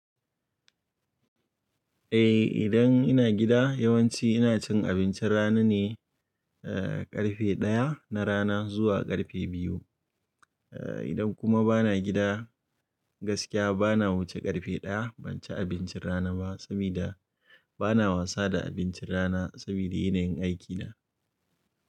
Eh, idan ina gida yawanci ina cin abincin rana ne, eh ƙarfe ɗaya na rana zuwa ƙarfe biyu. Eh idan kuma bana gida gaskiya bana wuce ƙarfe ɗaya banchi abincin rana ba, sabida bana wasa da abincin rana sabida yanayin aikina.